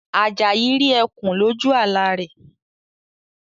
Ajayi rí ẹkùn loju àlá rẹ̀